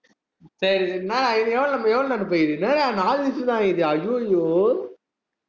சரி சரி என்னடா இன்னும் எவ்வளவு நேர~எவ்வளவு நேரம் போயி இருக்குது என்னடா நாலு நிமிஷம் தான் ஆயிருக்குது ஐய்யோ